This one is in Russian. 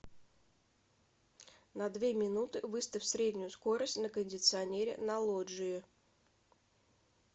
на две минуты выставь среднюю скорость на кондиционере на лоджии